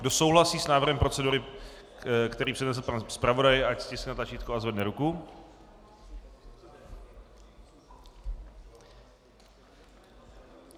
Kdo souhlasí s návrhem procedury, který přednesl pan zpravodaj, ať stiskne tlačítko a zvedne ruku.